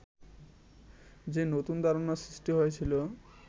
যে নতুন ধারণা সৃষ্টি হয়েছিল